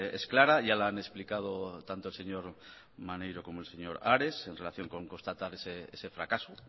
es clara ya la han explicado tanto el señor maneiro como el señor ares en relación con constatar ese fracaso